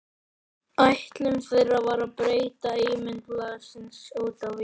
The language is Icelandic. Ætlun þeirra var að breyta ímynd blaðsins út á við.